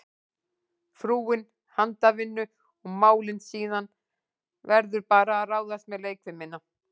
Frúin handavinnu og málin, síðan verður bara að ráðast með leikfimina.